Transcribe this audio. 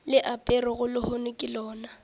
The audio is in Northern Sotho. le aperego lehono ke lona